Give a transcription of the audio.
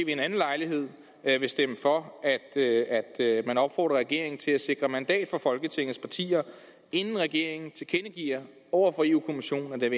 en anden lejlighed vil stemme for at regeringen opfordres til at sikre mandat fra folketingets partier inden regeringen tilkendegiver over for europa kommissionen at den